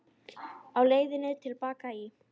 Á leiðinni til baka í